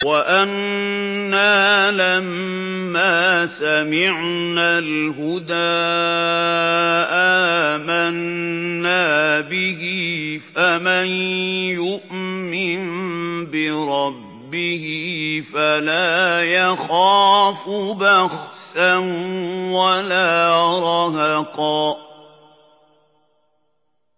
وَأَنَّا لَمَّا سَمِعْنَا الْهُدَىٰ آمَنَّا بِهِ ۖ فَمَن يُؤْمِن بِرَبِّهِ فَلَا يَخَافُ بَخْسًا وَلَا رَهَقًا